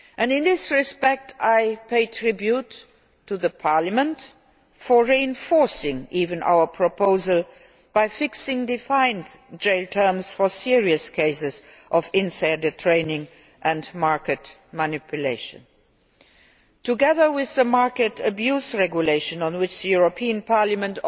In this respect I pay tribute to Parliament for actually reinforcing our proposal by fixing defined jail terms for serious cases of insider trading and market manipulation. Together with the market abuse regulation, on which the European Parliament